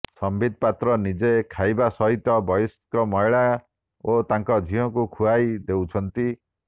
ସମ୍ୱିତ ପାତ୍ର ନିଜେ ଖାଇବା ସହିତ ବୟସ୍କା ମହିଳା ଓ ତାଙ୍କ ଝିଅକୁ ଖୁଆଇ ଦେଉଛନ୍ତି